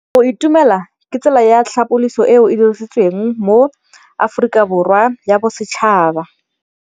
Go itumela ke tsela ya tlhapolisô e e dirisitsweng ke Aforika Borwa ya Bosetšhaba.